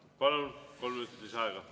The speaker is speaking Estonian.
Palun, kolm minutit lisaaega.